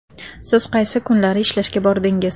Siz qaysi kunlari ishlashga bordingiz?